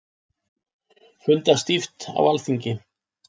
Fundað stíft á Alþingi